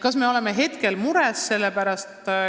Kas me oleme mures?